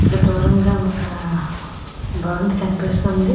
ఇక్కడ దూరంగా ఒక భవంతి కనిపిస్తుంది.